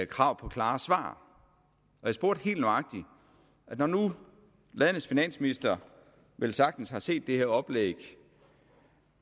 krav på klare svar jeg spurgte helt nøjagtigt og når nu landets finansminister velsagtens har set det her oplæg …